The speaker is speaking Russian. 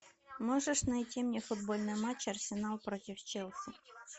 можешь найти мне футбольный матч арсенал против челси